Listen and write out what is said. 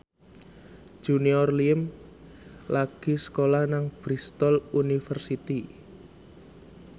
Junior Liem lagi sekolah nang Bristol university